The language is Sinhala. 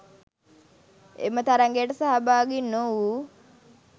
එම තරගයට සහභාගි නොවූ